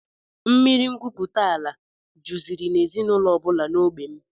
Mmiri ngwupụtaala juziri n'ezinụlọ ọbụla n'ógbè m